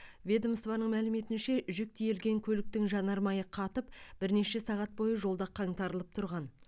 ведомствоның мәліметінше жүк тиелген көліктің жанармайы қатып бірнеше сағат бойы жолда қаңтарылып тұрған